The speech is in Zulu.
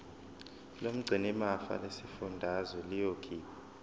lomgcinimafa lesifundazwe liyokhipha